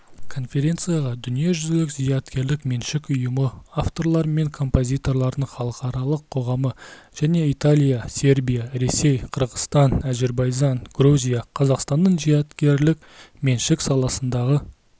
конференцияға дүниежүзілік зияткерлік меншік ұйымы авторлар мен композиторлардың халықаралық қоғамы және италия сербия ресей қырғызстан әзірбайжан грузия қазақстанның зияткерлік меншік саласындағы